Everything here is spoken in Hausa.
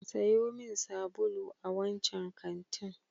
Sayo min sabulu a wancan kantin.